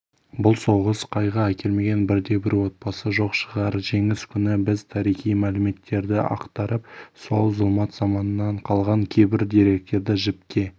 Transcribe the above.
бұл соғыс қайғы әкелмеген бірде-бір отбасы жоқ шығар жеңіс күні біз тарихи мәліметтерді ақтарып сол зұлмат заманнан қалған кейбір деректерді жіпке